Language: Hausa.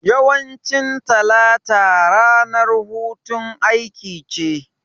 Yawancin talata ranar hutun aiki ce